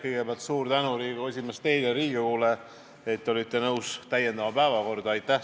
Kõigepealt suur tänu, Riigikogu esimees, teile ja Riigikogule, et te olite nõus täiendama päevakorda!